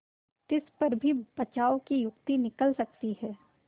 तिस पर भी बचाव की युक्ति निकल सकती है